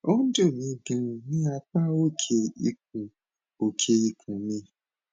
ó ń dùn mí ganan ní apá òkè ikùn òkè ikùn mi